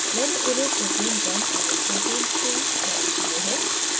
मैंने उन्हें protein 1 एवं protein 2 named दिए हैं